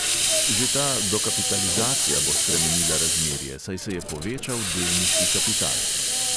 Že ta dokapitalizacija bo spremenila razmerje, saj se je povečal delniški kapital.